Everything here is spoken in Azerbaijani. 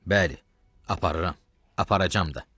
Bəli, aparıram, aparacam da.